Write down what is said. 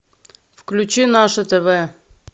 включи наше тв